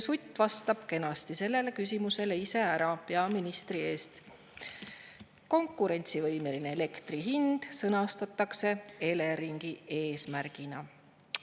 Sutt vastas kenasti sellele küsimusele peaministri eest ise ära: konkurentsivõimeline elektri hind sõnastatakse Eleringi eesmärgina.